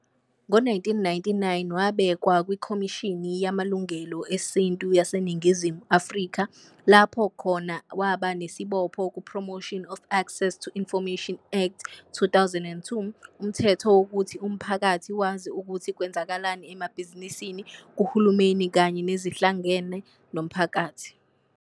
Ngo-1999 wabekwa kwikhomishini Yamalungelo Esintu YaseNingizimu Afrika lapha khona waba nesibopho ku-Promotion of Access to Information Act, 2000, umthetho wokuthi umphakathi wazi ukuthi kwenzakalani emabhizinisini, kuHulumeni kanye nezihlangene nomphakathi.